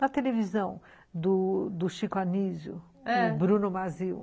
Na televisão, do do Chico Anísio, do Bruno Mazzeo.